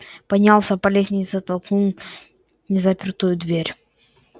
поднялся по лестнице толкнул незапертую дверь